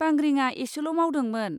बांग्रिङा एसेल' मावदोंमोन।